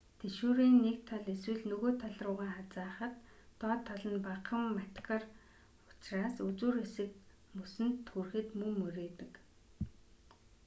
тэшүүрийн нэг тал эсвэл нөгөө тал руугаа хазайхад доод тал нь багахан матигар учраас үзүүр хэсэг мөсөнд хүрэхэд мөн мурийдаг